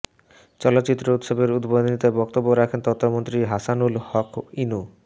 চলচ্চিত্র উৎসবের উদ্বোধনীতে বক্তব্য রাখছেন তথ্যমন্ত্রী হাসানুল হক ইনু